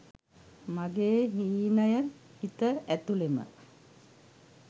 මගේ හීනය හිත ඇතුළෙම